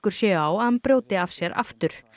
séu á að hann brjóti af sér aftur